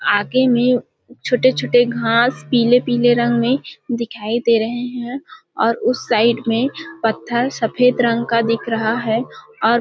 आगे में छोटे -छोटे घास पिले-पिले रंग में दिखाई दे रहे है और उस साइड में पत्थर सफेद रंग का दिखा रहा है और--